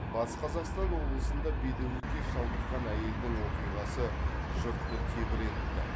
батыс қазақстан облысында бедеулікке шалдыққан әйелдің оқиғасы жұртты тебірентті